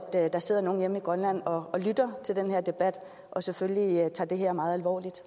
at der sidder nogen hjemme i grønland og lytter til den her debat og selvfølgelig tager det her meget alvorligt